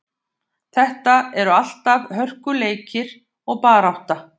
Þetta eru alltaf hörkuleikir og barátta.